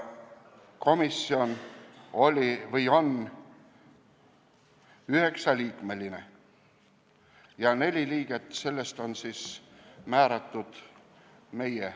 Komisjon on üheksaliikmeline ja neli liiget on meie määratud.